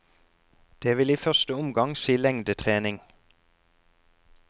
Det vil i første omgang si lengdetrening.